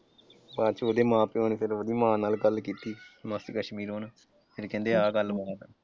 ਬਾਅਦ ਚ ਉਹਦੇ ਮਾਂ ਪਿਓ ਨੇ ਫਿਰ ਉਹਦੀ ਮਾਂ ਨਾਲ ਗੱਲ ਕੀਤੀ ਮਾਸੀ ਕਸ਼ਮੀਰੋ ਨਾਲ। ਫਿਰ ਕਹਿੰਦੇ ਆਹ ਗੱਲਬਾਤ ਆ।